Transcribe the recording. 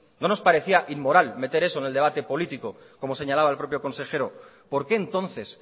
no nos parecía inmoral meter eso en el debate político como señalaba el propio consejero por qué entonces